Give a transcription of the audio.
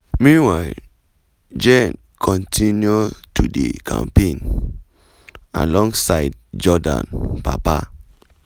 meanwhile jenn kontinu to dey campaign alongside jordan papa.